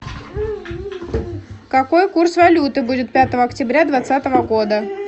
какой курс валюты будет пятого октября двадцатого года